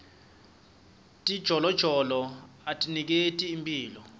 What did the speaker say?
tijolojolo atiniketi imphilo